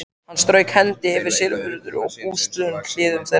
Hann strauk hendi eftir silfruðum og bústnum hliðum þeirra.